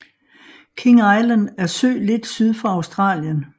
King Island er ø lidt syd for Australien